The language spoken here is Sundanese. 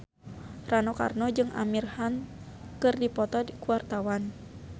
Rano Karno jeung Amir Khan keur dipoto ku wartawan